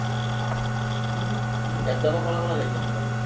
એમ તો કો કોને કોને લઇ જસો?